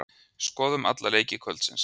Skoðum alla leiki kvöldsins.